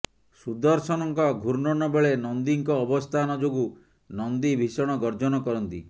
ସୁଦର୍ଶନଙ୍କ ଘୂର୍ଣ୍ଣନ ବେଳେ ନନ୍ଦିଙ୍କ ଅବସ୍ଥାନ ଯୋଗୁ ନନ୍ଦି ଭୀଷଣ ଗର୍ଜନ କରନ୍ତି